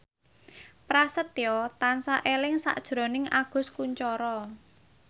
Prasetyo tansah eling sakjroning Agus Kuncoro